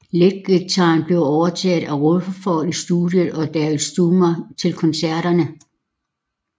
Leadguitaren blev overtaget af Rutherford i studiet og af Daryl Stuermer til koncerterne